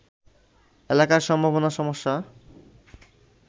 এলাকার সম্ভাবনা-সমস্যা